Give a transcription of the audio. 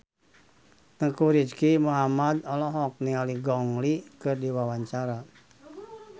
Teuku Rizky Muhammad olohok ningali Gong Li keur diwawancara